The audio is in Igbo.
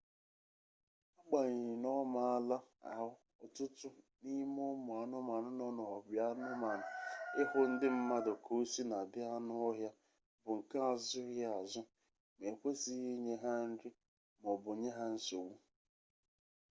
agbanyeghị na ọ maala ahụ ọtụtụ n'ime ụmụ anụmanụ nọ n'obianụmanụ ịhụ ndị mmadụ ka o sina dị anụ ọhịa bụ nke azụghịazụ ma e kwesịghị inye ha nri ma ọ bụ nye ha nsogbu